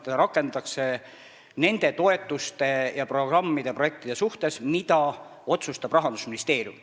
Seda rakendatakse nende toetuste ja programmide-projektide suhtes, mille kohta teeb otsuseid Rahandusministeerium.